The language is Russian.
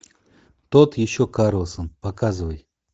тот еще карлсон показывай